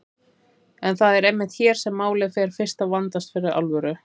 En það er einmitt hér sem málið fer fyrst að vandast fyrir alvöru.